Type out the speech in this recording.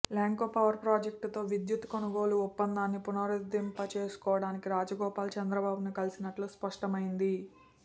Lanco power ప్రాజెక్టుతో విద్యుత్తు కొనుగోలు ఒప్పందాన్ని పునరుద్ధరింపజేసుకోవడానికి రాజగోపాల్ చంద్రబాబును కలిసినట్లు స్పష్టమైంది